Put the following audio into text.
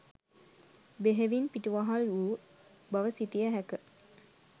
බෙහෙවින් පිටුවහල් වූ බව සිතිය හැක.